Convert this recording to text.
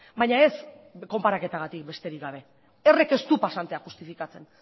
baina ez konparaketagatik besterik gabe horrek ez du pasantea justifikatzen